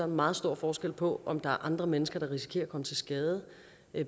meget stor forskel på om der er andre mennesker der risikerer at komme til skade